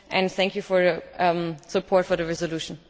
Thank you for your support for the resolution.